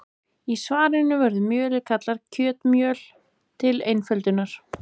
Í svarinu verður mjölið kallað kjötmjöl til einföldunar.